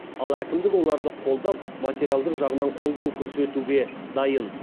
ал әкімдік оларды қолдап материалдық жағынан қолдау көрсетуге дайын